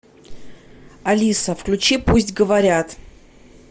алиса включи пусть говорят